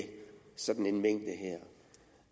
sådan en mængde